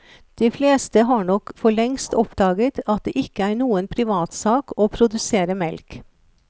De fleste har nok forlengst oppdaget at det ikke er noen privatsak å produsere melk.